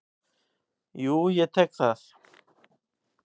Jú, ég tek það.